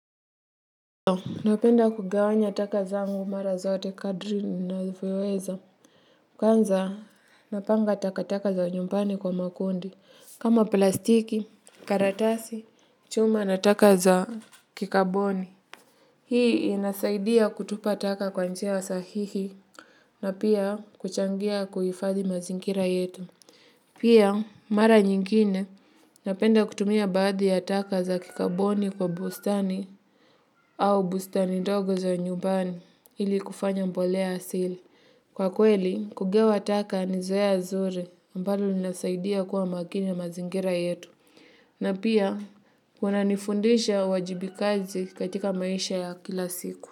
Napenda kugawanya taka zangu mara zote kadri ninavyo weza. Kwanza napanga taka taka za nyumbani kwa makundi. Kama plastiki, karatasi, chuma na taka za kikaboni. Hii inasaidia kutupa taka kwa njia sahihi na pia kuchangia kuhifadhi mazingira yetu. Pia, mara nyingine napenda kutumia baadhi ya taka za kikaboni kwa bustani au bustani ndogo za nyumbani ili kufanya mbolea asili. Kwa kweli, kugewa taka ni zoea zuri ambalo linasaidia kuwa makini ya mazingira yetu. Na pia, kuna nifundisha uwajibikazi katika maisha ya kila siku.